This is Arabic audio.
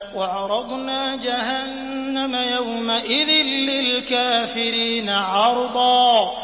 وَعَرَضْنَا جَهَنَّمَ يَوْمَئِذٍ لِّلْكَافِرِينَ عَرْضًا